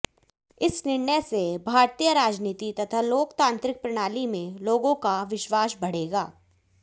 इस निर्णय से भारतीय राजनीति तथा लोकतांत्रिक प्रणाली में लोगों का विश्वास बढ़ेगा